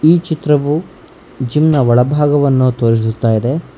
ಈ ಚಿತ್ರವು ಜಿಮ್ ನ ಒಳಭಾಗವನ್ನ ತೋರಿಸುತ್ತಾಇದೆ.